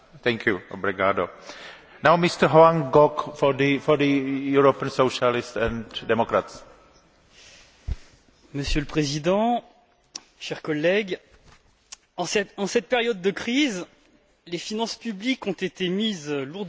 Monsieur le Président, chers collègues, en cette période de crise, les finances publiques ont été mises lourdement à contribution pour sauver le système financier, dans un premier temps, et pour amortir le choc social et économique, dans un deuxième temps.